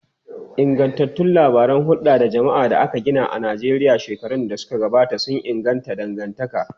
Ingantattun labaran hulda da jama'a da aka gina a Najeriya shekaru da suka gabata sun inganta dangantaka.